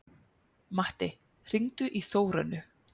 Matti, hringdu í Þórönnu.